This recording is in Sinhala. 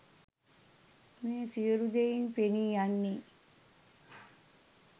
මේ සියලු දෙයින් පෙනී යන්නේ